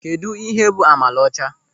Kedụ ịhe bụ amala ọcha?